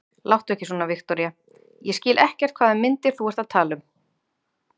Láttu ekki svona, Viktoría, ég skil ekkert hvaða myndir þú ert að tala um.